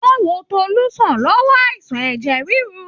Wọ́n wo Tolú sàn lọ́wọ́ àìsàn ẹjẹ rírú.